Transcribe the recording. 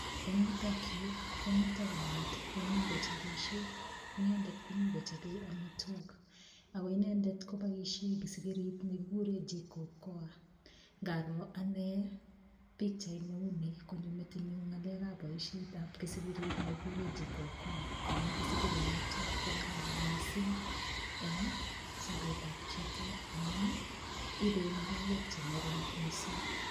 Eng yutok yu komito kamet nemi kochobisie. Inendet komi kochobei amitwog ago inenget koboisie kisigirit ne kikuren jikokoa. Ngaroo anne pichait ne uni konyo metinyun boisietab kisigirit nekikuren jikokoa amu kisigit noto ko kararan mising eng sobetab chito amun ibei makayek che ngering mising.